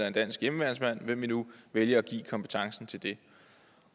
en dansk hjemmeværnsmand alt hvem vi nu vælger at give kompetencen til det